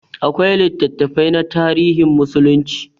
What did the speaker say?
Akwai littattafai na tarihin musulunci.